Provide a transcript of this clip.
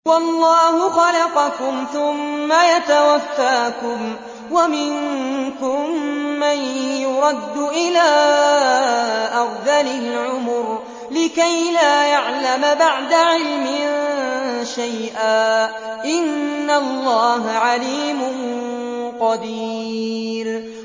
وَاللَّهُ خَلَقَكُمْ ثُمَّ يَتَوَفَّاكُمْ ۚ وَمِنكُم مَّن يُرَدُّ إِلَىٰ أَرْذَلِ الْعُمُرِ لِكَيْ لَا يَعْلَمَ بَعْدَ عِلْمٍ شَيْئًا ۚ إِنَّ اللَّهَ عَلِيمٌ قَدِيرٌ